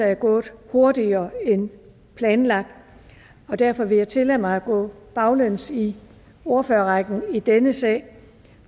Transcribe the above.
er gået hurtigere end planlagt og derfor vil jeg tillade mig at gå baglæns i ordførerrækken i denne sag